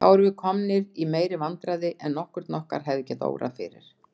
Þá erum við komnir í meiri vandræði en nokkurn okkar hefði getað órað fyrir.